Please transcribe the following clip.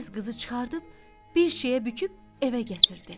Tez qızı çıxarıb bir şeyə büküb evə gətirdi.